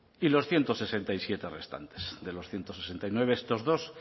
y los ciento sesenta y siete restantes de los ciento sesenta y nueve estos dos